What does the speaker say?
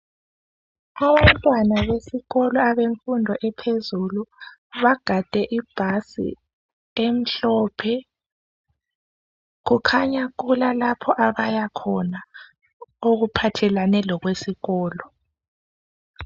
abantwana besikolo abemfundo ephezulu bagade ibhasi emhlophe kukhanya kulalapha abaya khona okuphathelane lokwesikolo